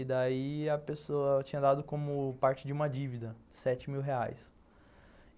E daí a pessoa tinha dado como parte de uma dívida, sete mil reais.